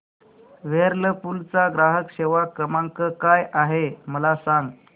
Whirlpool चा ग्राहक सेवा क्रमांक काय आहे मला सांग